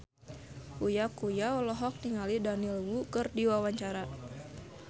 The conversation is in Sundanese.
Uya Kuya olohok ningali Daniel Wu keur diwawancara